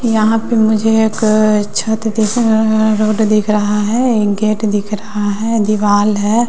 यहां पे मुझे एक छत दिख रोड दिख रहा है एक गेट दिख रहा है दीवाल है।